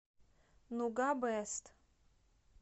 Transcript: нуга бест